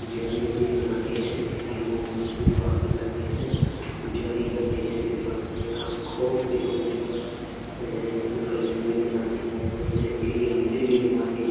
जन्मदिन भी मनाते हैं। इन पर लोग बहुत विश्वास भी करते हैं। पूजा भी करते है विश्वास करते हैं। बहुत से लोग इन पर अ इनका जन्मदिन मनाते हैं। इनके लिए मंदिर भी बनवाते हैं।